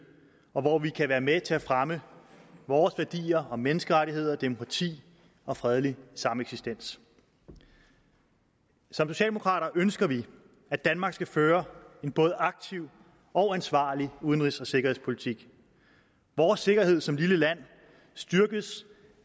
og hvor vi kan være med til at fremme vores værdier om menneskerettigheder demokrati og fredelig sameksistens som socialdemokrater ønsker vi at danmark skal føre en både aktiv og ansvarlig udenrigs og sikkerhedspolitik vores sikkerhed som lille land styrkes